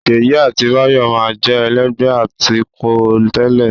Ṣèyí àti Báyọ̀ máa ń jẹ́ ẹlẹ́gbẹ̀ẹ́ atukọ̀ tẹ́lẹ̀